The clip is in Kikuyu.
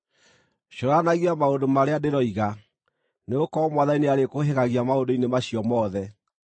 Cũranagia maũndũ marĩa ndĩroiga, nĩgũkorwo Mwathani nĩarĩkũũhĩgagia maũndũ-inĩ macio mothe.